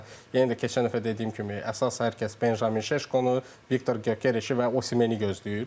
Məsələn, yenə də keçən dəfə dediyim kimi, əsas hər kəs Benjamin Şeşkonu, Viktor Gökerici və Osimeni gözləyir.